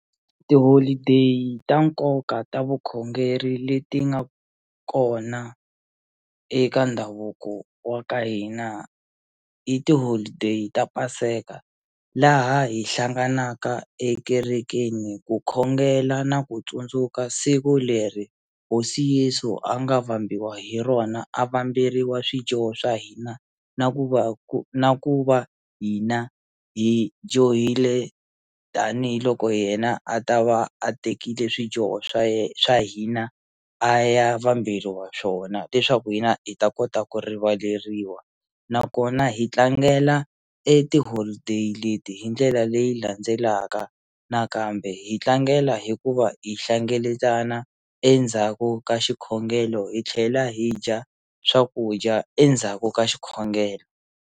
Ti-holiday ta nkoka ta vukhongeri leti nga kona eka ndhavuko wa ka hina i ti-holiday ta paseka laha hi hlanganaka ekerekeni ku khongela na ku tsundzuka siku leri hosi Yesu a nga vambiwa hi rona a va kamberiwa swijoho swa hina na ku va ku na ku va hina hi johile tanihiloko yena a ta va a tekile swidyoho swa swa hina a ya vambirhi wa swona leswaku hina hi ta kota ku rivaleriwa nakona hi tlangela e ti-holiday leti hi ndlela leyi landzelaka nakambe hi tlangela hikuva hi hlengeletana endzhaku ka xikhongelo hi tlhela hi dya swakudya endzhaku ka xikhongelo.